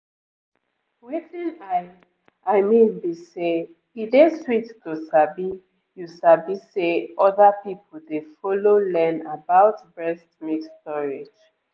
wetin i i mean be say e dey sweet to sabi you sabi say other people dey follow learn about breast milk storage